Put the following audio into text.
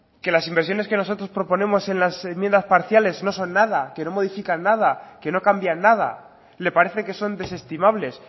que las inversiones que nosotros proponemos en las enmiendas parciales no son nada que no modifican nada que no cambian nada le parece que son desestimables